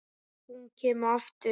Ef hún kemur aftur.